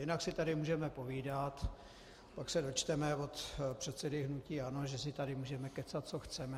Jinak si tady můžeme povídat, pak se dočteme od předsedy hnutí ANO, že si tady můžeme kecat, co chceme.